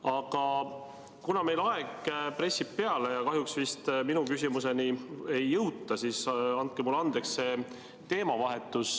Aga kuna aeg pressib peale ja minu küsimuseni vist kahjuks ei jõuta, siis andke mulle andeks teemavahetus.